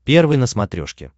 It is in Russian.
первый на смотрешке